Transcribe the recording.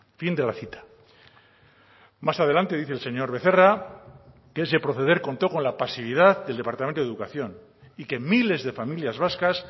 fin de la cita más adelante dice el señor becerra que ese proceder contó con la pasividad del departamento de educación y que miles de familias vascas